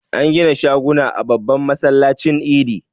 An gida shaguna a babban masallacin Idi.